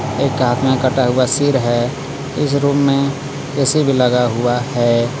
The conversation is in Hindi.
एक हाथ मे कटा हुआ सीर है इस रूम में ऐ_सी भी लगा हुआ है.